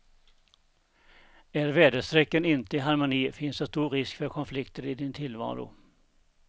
Är väderstrecken inte i harmoni finns det stor risk för konflikter i din tillvaro.